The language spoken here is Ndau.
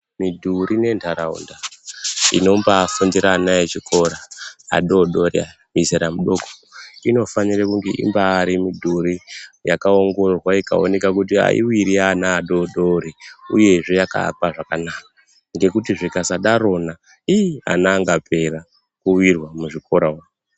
Madhuri nenharaundadxinobsifundira ana echikora adoodori mizera mudoko inofanira. Inofanira kunge irimidhuri yakaongororwa kuti aiwiri ana adoodori uyezve yakaakwa zvakanaka ngekuti zvikasadarona ii ana angaapera kuwirwa muzvikora umo.